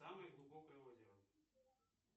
самое глубокое озеро